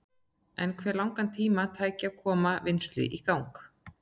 En hve langan tíma tæki að koma vinnslu í gang?